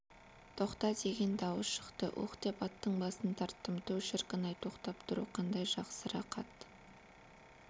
тоқта деген дауыс шықты уһ деп аттың басын тарттым түу шіркін-ай тоқтап тұру қандай жақсы рақат